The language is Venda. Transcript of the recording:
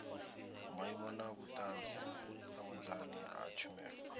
maimo na vhunzani ha tshumelo